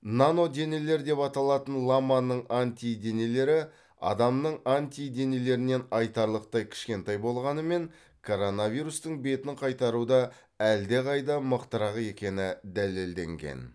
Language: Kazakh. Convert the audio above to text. наноденелер деп аталатын ламаның антиденелері адамның антиденелерінен айтарлықтай кішкентай болғанымен коронавирустың бетін қайтаруда әлдеқайда мықтырақ екені дәлелденген